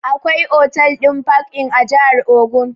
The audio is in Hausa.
Akwai otal ɗin park-inn a jahar ogun